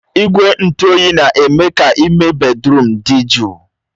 Igwe ntụ oyi na-eme ka ime bèdrụm dị jụụ